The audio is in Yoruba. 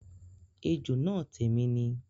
Ejò náà tèmi ni